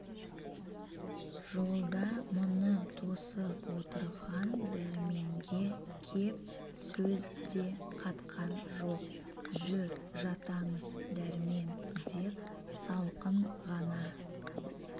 жолда мұны тосып отырған дәрменге кеп сөз де қатқан жоқ жүр жатамыз дәрмен деп салқын ғана